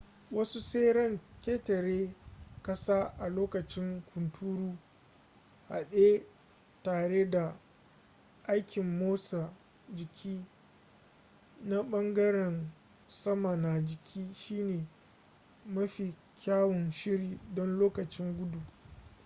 wasu tseren ƙetare-ƙasa a lokacin hunturu haɗe tare da aikin motsa jiki na ɓangaren sama na jiki shine mafi kyawun shiri don lokacin gudu